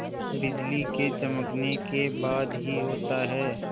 बिजली के चमकने के बाद ही होता है